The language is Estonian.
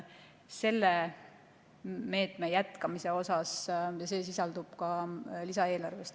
Selle meetme jätkamine sisaldub ka lisaeelarves.